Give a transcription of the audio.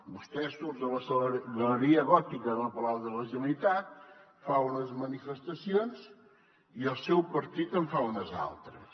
vostè surt a la galeria gòtica del palau de la generalitat fa unes manifestacions i el seu partit en fa unes altres